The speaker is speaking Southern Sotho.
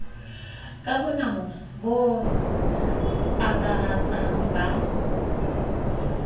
ka bonamo bo akaratsang ba